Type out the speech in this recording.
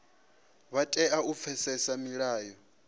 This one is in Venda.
vha tea u pfesesa milayo